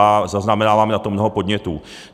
A zaznamenáváme na to mnoho podnětů.